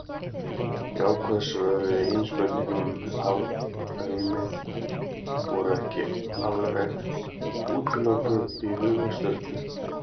Jákvæð svör við eigin spurningum um hálfrímið voru ekki alveg útilokuð í huga Sturlu.